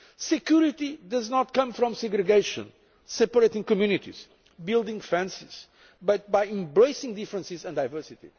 them. Security does not come from segregation, separating communities, building fences, but by embracing differences and diversity.